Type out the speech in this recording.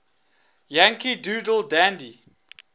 yankee doodle dandy